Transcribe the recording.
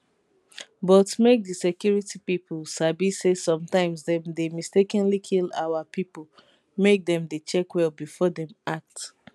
but make di security pipo sabi say sometimes dem dey mistakenly kill our pipo make dem dey check well befor dem act